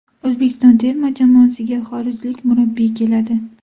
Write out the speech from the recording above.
O‘zbekiston terma jamoasiga xorijlik murabbiy keladi.